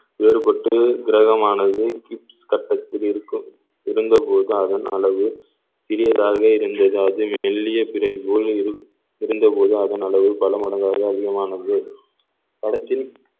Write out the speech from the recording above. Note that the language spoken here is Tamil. ஏற்பட்டு கிரகமானது கிட்~ கட்டத்தில் இருக்கும் இருந்த போது அதன் அளவு சிறியதாக இருந்தது அது மெல்லிய பிறை போல் இரு~ இருந்தபோது அதன் அளவு பல மடங்காக அதிகமானது படத்தின்